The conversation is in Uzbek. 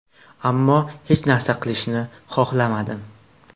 Ammo hech narsa qilishni xohlamadim.